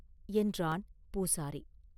என்றான் பூசாரி.